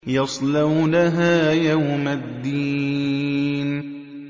يَصْلَوْنَهَا يَوْمَ الدِّينِ